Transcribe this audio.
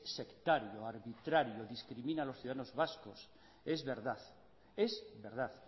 sectario arbitrario discrimina a los ciudadanos vascos es verdad es verdad